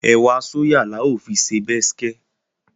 Ẹ̀wà sóyà la ó fi ṣe bẹ́skẹ́